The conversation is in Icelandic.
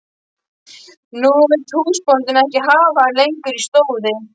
Nú vill húsbóndinn ekki hafa hann lengur í stóði.